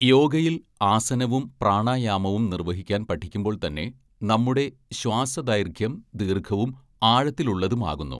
യോഗയിൽ ആസനവും പ്രാണായാമവും നിർവ്വഹിക്കാൻ പഠിക്കുമ്പോൾ തന്നെ നമ്മുടെ ശ്വാസദൈർഘ്യം ദീർഘവും ആഴത്തിലുള്ളതുമാകുന്നു.